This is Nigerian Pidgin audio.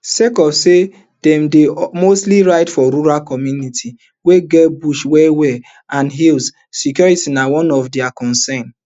sake of say dem dey mostly ride for rural communities wey get bush well well and hills security na one of dia concerns